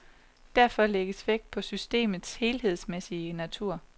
Derfor lægges vægt på systemets helhedsmæssige natur.